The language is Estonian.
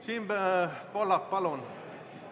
Siim Pohlak, palun!